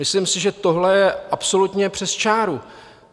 Myslím si, že tohle je absolutně přes čáru.